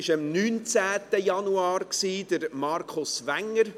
Das war am 19. Januar Markus Wenger.